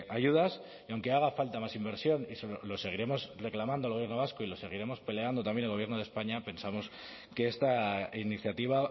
ayudas y aunque haga falta más inversión y se lo seguiremos reclamando al gobierno vasco y lo seguiremos peleando también en el gobierno de españa pensamos que esta iniciativa